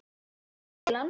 Hún fór til hans.